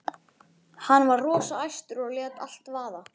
Hann var rosa æstur og lét allt vaða.